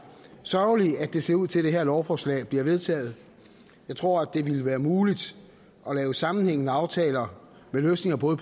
sørgeligt at det ser ud til at det her lovforslag bliver vedtaget jeg tror det ville være muligt at lave sammenhængende aftaler med løsninger på